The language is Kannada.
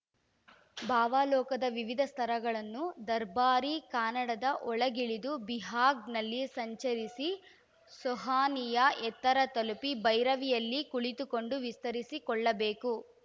ಭಾವಲೋಕದ ವಿವಿಧ ಸ್ತರಗಳನ್ನು ದರ್ಬಾರಿ ಕಾನಡದ ಒಳಗಿಳಿದು ಬಿಹಾಗ್‌ನಲ್ಲಿ ಸಂಚರಿಸಿ ಸೋಹನಿಯ ಎತ್ತರ ತಲುಪಿ ಭೈರವಿಯಲ್ಲಿ ಕುಳಿತುಕೊಂಡು ವಿಸ್ತರಿಸಿಕೊಳ್ಳಬೇಕು